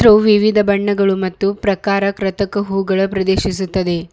ತೂ ವಿವಿಧ ಬಣ್ಣಗಳ ಮತ್ತು ಪ್ರಕಾರ ಕೃತಕ ಹೂ ಗಳ ಪ್ರದೇಶಿಸುತ್ತದೆ.